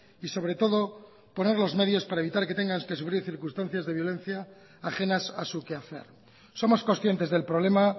y sobre todo poner los medios para evitar que tengan que sufrir circunstancias de violencia ajenas a su quehacer somos conscientes del problema